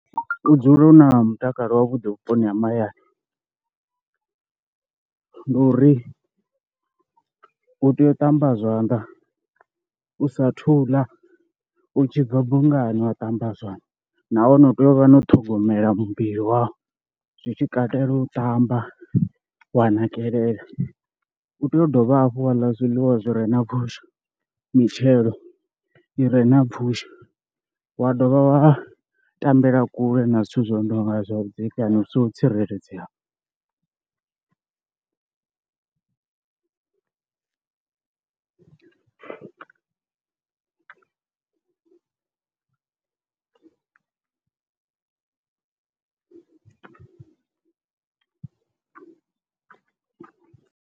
U dzula u na mutakalo wavhuḓi vhuponi ha mahayani ndi uri u tea u ṱamba zwanḓa u sa thu ḽa, u tshi bva bungani wa ṱamba zwanḓa, nahone u tea u vha na u ṱhogomela muvhili wau zwi tshi katela u ṱamba wa nakelela, u tea u dovha hafhu wa ḽa zwiḽiwa zwi re na pfhushi, mitshelo i re na pfhushi wa dovha wa tambela kule na zwithu zwi nonga zwa vhudzekani vhu songo tsireledzeaho.